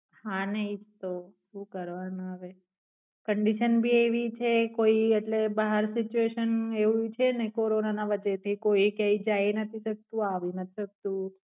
હા નઈ તો સુ કરવાના હવે condition ભી એવી છે કોઈ એટલે બહાર સીચવેેેશન એવું છે ને Corona ના વચ્ચેથી કોઈ એ કઈજાય એ નથ થતું આવું નાથ થતું